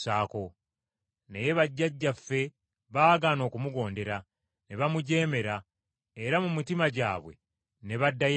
“Naye bajjajjaffe baagaana okumugondera, ne bamujeemera, era mu mitima gyabwe ne baddayo e Misiri.